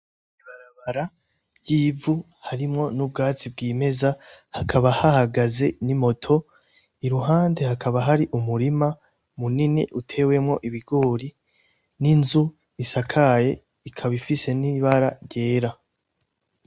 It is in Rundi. Ibarabara ry'ivu harimwo n'ubwazi bw'imeza hakaba hahagaze n'imoto i ruhande hakaba hari umurima munini utewemwo ibigori n'inzu isakaye ikabaifise n'ibara ryera.